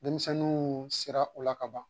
Denmisɛnninw siran u la ka ban